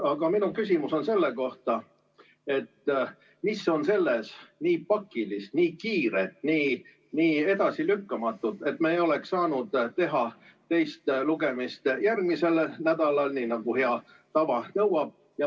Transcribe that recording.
Aga minu küsimus on selle kohta, mis on selles nii pakilist, nii kiiret, nii edasilükkamatut, et me ei oleks saanud teha teist lugemist järgmisel nädalal, nagu hea tava nõuab.